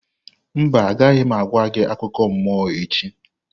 Mba, agaghị m agwa gị akụkọ mmụọ echi.